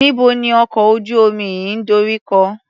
Níbo ni ọkọ̀ ojú-omi yìí ń dorí kọ?